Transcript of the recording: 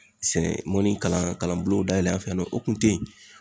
Sɛn mɔni kalan kalan bulonw dayɛlɛ an fɛ yan nɔ o kun te yen